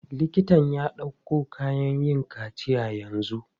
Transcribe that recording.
Liktan ya ɗauko kayan yin kaciya yanzu.